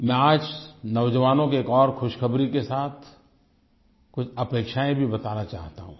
मैं आज नौजवानों को एक और खुशखबरी के साथ कुछ अपेक्षायें भी बताना चाहता हूँ